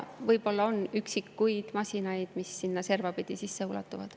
Võib-olla on üksikuid masinaid, mis sinna servapidi sisse ulatuvad.